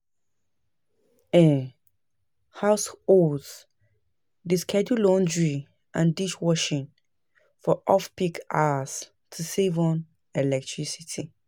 um Households dey schedule laundry and dishwashing for off-peak hours to save on electricity.